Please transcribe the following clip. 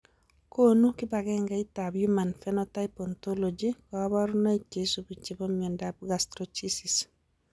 Konu kibagengeitab Human Phenotype Ontology kaborunoik cheisubi chebo miondop Gastroschisis